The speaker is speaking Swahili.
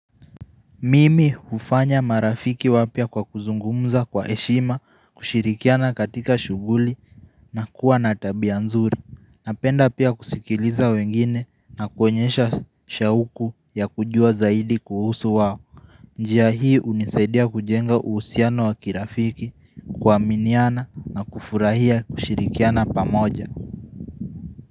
Mimi hufanya marafiki wapya kwa kuzungumza kwa heshima, kushirikiana katika shughuli na kuwa na tabia nzuri. Napenda pia kusikiliza wengine na kuonyesha shauku ya kujua zaidi kuhusu wao. Njia hii hunisaidia kujenga uhusiano wa kirafiki, kuaminiana na kufurahia kushirikiana pamoja.